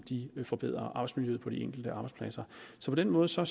forbedrer arbejdsmiljøet på de enkelte arbejdspladser så på den måde ser